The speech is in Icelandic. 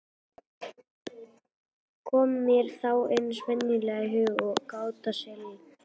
Kom mér þá eins og venjulega í hug gáta Sigvalda